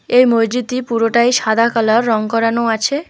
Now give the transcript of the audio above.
এই মসজিদটি পুরোটাই সাদা কালার রং করানো আছে।